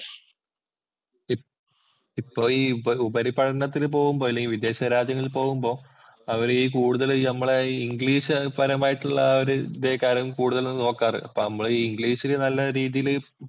ഇപ്പോൾ ഈ ഉപരിപഠനത്തിന് പോകുമ്പോൾ, അല്ലെങ്കില്‍ വിദേശരാജ്യങ്ങളിൽ പോകുമ്പോ അവര് ഈ കൂടുതല് ആഹ് നമ്മടെ ഈ ഇംഗ്ലീഷ്പരമായിട്ടുള്ള ആ ഒരു ഇതേ കാര്യമാണ് കൂടുതലും നോക്കാറ്. നമ്മടെ ഈ ഇംഗ്ലീഷില് നല്ല രീതിയില്